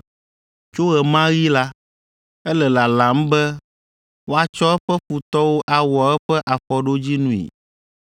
Tso ɣe ma ɣi la, ele lalam be woatsɔ eƒe futɔwo awɔ eƒe afɔɖodzinui.